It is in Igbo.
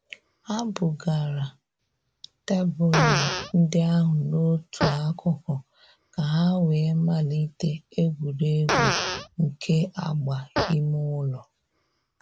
Ha bugara tebụlụ ndị ahụ n'otu akụkụ ka ha wee malite egwuregwu nke agba ime ụlọ.